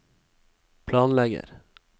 planlegger